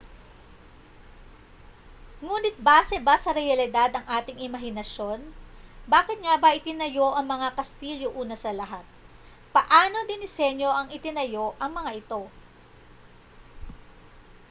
nguni't base ba sa realidad ang ating imahinasyon bakit nga ba itinayo ang mga kastilyo una sa lahat paano dinisenyo at itinayo ang mga ito